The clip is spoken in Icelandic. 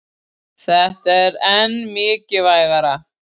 Þetta er enn mikilvægara